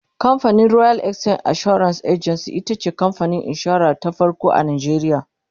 camfanin royal exchange assurance agency itace kamfanin insura ta farko a nigeria